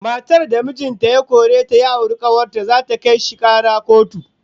Matar da mijin ta ya kore ta ya auri kawar ta, zata kai shi kara kotu